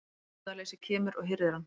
Meðvitundarleysið kemur og hirðir hann.